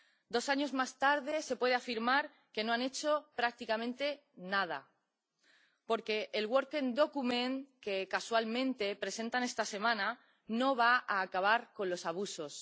Dos años más tarde, se puede afirmar que no han hecho prácticamente nada, porque el documento de trabajo, que casualmente presentan esta semana, no va a acabar con los abusos.